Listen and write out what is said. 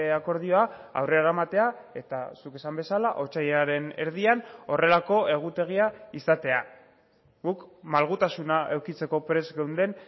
akordioa aurrera eramatea eta zuk esan bezala otsailaren erdian horrelako egutegia izatea guk malgutasuna edukitzeko prest geunden